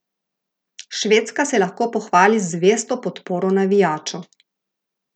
Švedska se lahko pohvali z zvesto podporo navijačev.